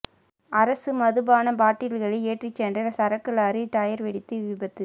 அரசு மதுபான பாட்டில்களை ஏற்றிச்சென்ற சரக்கு லாரி டயர் வெடித்து விபத்து